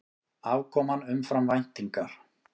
Afkoman umfram væntingar